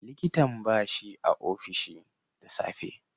likitan bashi a ofishi da safe.